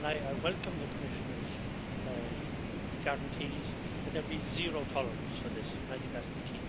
I welcome the Commissioner's guarantees that there be zero tolerance for this, and I think that is the